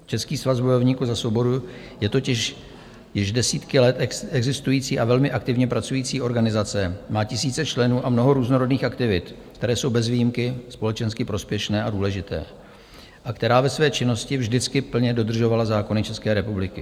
Český svaz bojovníků za svobodu je totiž již desítky let existující a velmi aktivně pracující organizace, má tisíce členů a mnoho různorodých aktivit, které jsou bez výjimky společensky prospěšné a důležité, a která ve své činnosti vždycky plně dodržovala zákony České republiky.